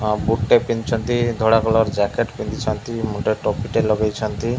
ଆ boot ଟେ ପିନ୍ଧିଛନ୍ତି ଧଳା କଲର ଜ୍ୟାକେଟ ପିନ୍ଧିଛନ୍ତି ମୁଣ୍ଡରେ ଟୋପିଟେ ଲଗେଇଛନ୍ତି।